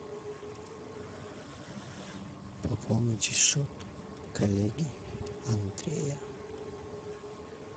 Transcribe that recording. пополнить счет коллеги андрея